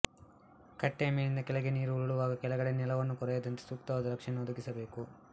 ಕಟ್ಟೆಯ ಮೇಲಿನಿಂದ ಕೆಳಕ್ಕೆ ನೀರು ಉರುಳುವಾಗ ಕೆಳಗಡೆ ನೆಲವನ್ನು ಕೊರೆಯದಂತೆ ಸೂಕ್ತವಾದ ರಕ್ಷಣೆಯನ್ನು ಒದಗಿಸಬೇಕು